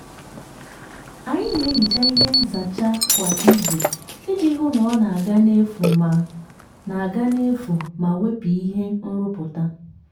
anyị na-ehicha ihe nzacha kwa izu iji hụ na ọ na-aga n'efu ma na-aga n'efu ma wepụ ihe nrụpụta.